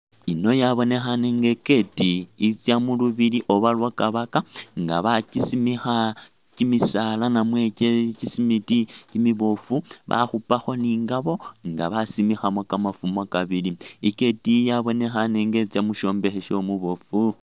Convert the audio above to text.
Ino yabonekhane nga i'gate itsa mulubili oba lwa'kabaka nga bakyisimikha kyimisaala namwe kyisimiti kyimiboofu bakhupakho ni ngabo nga basimikhamo kamafumo kabili, i'gate eyi yabonekhaane nga itsa mushombekhe shomuboofu